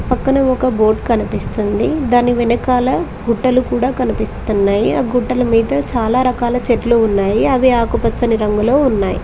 పక్కన ఒక బోట్ కనిపిస్తుంది దాని వెనకాల గుట్టలు కూడా కనిపిస్తున్నాయి ఆ గుడ్డలు మీతో చాలా రకాల చెట్లు ఉన్నాయి అవి ఆకుపచ్చని రంగులో ఉన్నాయి.